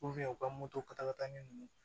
u ka moto tata ɲɛ ninnu